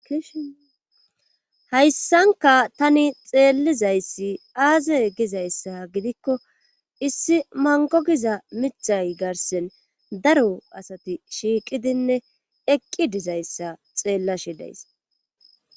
Hayssankka tani xeellizayssi aaze gizayssa gidikko issi mango giza mithay garsen daro asati shiiqidinne eqqi dizayssa xeellashe days.